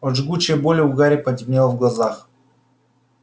от жгучей боли у гарри потемнело в глазах